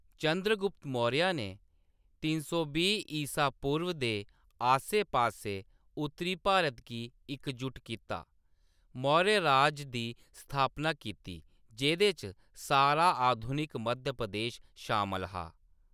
चंद्रगुप्त मौर्य ने त्रै सौ बीह् ईसा पूर्व दे आस्सै-पास्सै उत्तरी भारत गी इकजुट कीता, मौर्य राज दी स्थापना कीती, जेह्‌‌‌दे च सारा आधुनिक मध्य प्रदेश शामल हा।